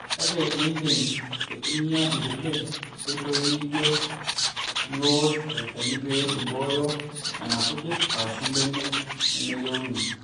kake iindim aitumia nkulie oitoi nijo niosh olchani pee imbooyo nena kujit aashu benek nemeyieuni